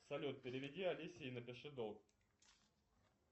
салют переведи алисе и напиши долг